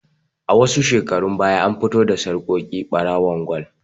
A shekarun baya an fito da sarƙoƙi ɓarawon gwal